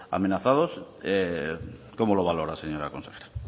amenazados cómo lo valora señora consejera